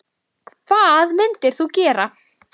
Fylgi annarra flokka mælist minna.